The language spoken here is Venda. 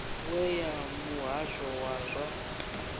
we ya muhasho wa zwa